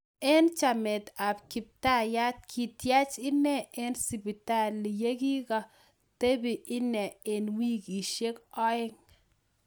Eng chamet ap kiptaiyat kityach inee eng sipitali yekikakotepee inee eng wikisiek oeng